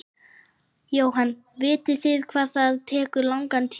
Jóhann: Vitið þið hvað það tekur langan tíma?